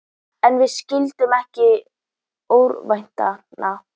En við skyldum ekki örvænta.